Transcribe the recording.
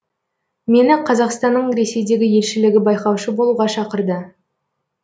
мені қазақстанның ресейдегі елшілігі байқаушы болуға шақырды